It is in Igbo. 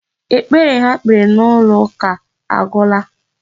Ekpere ha kpere n'ụlọ ụka agwụla.